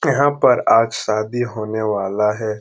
यहाँ पर आज शादी होने वाला है।